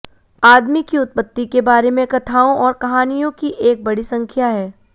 आदमी की उत्पत्ति के बारे कथाओं और कहानियों की एक बड़ी संख्या है